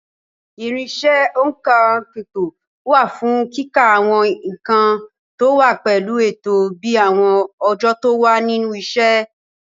Irinṣẹ́ òǹkà ipò wà fún kíka àwọn nǹkan tó wá pẹ̀lú ètò bíi àwọn ọjọ́ tó wà nínú ọ̀sẹ̀.